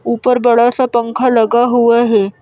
ऊपर बड़ा सा पंखा लगा हुआ है।